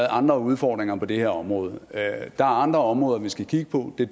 andre udfordringer på det her område der er andre områder vi skal kigge på det er